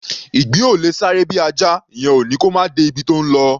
Ìgbín ò lè sáré bí Ajá; ìyẹn ò ní kó máà de ibi tó ńlọ.